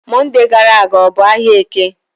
Mọnde gara aga ọ bụ ahịa Eke?